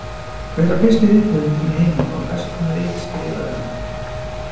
Hver var fyrsti rithöfundurinn í heiminum og hvers konar rit skrifaði hann?